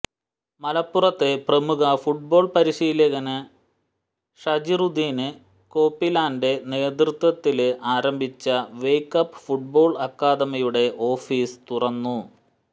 മലപ്പുറത്തെ പ്രമുഖ ഫുട്ബോള് പരിശീലകന് ഷാജിറുദീന് കോപ്പിലാന്റെ നേതൃത്വത്തില് ആരംഭിച്ച വേക്ക് അപ്പ് ഫുട്ബോള് അക്കാദമിയുടെ ഓഫീസ് തുറന്നു